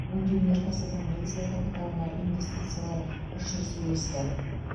өңдеу өнеркәсібінің негізгі капиталына инвестициялар үш есе өсті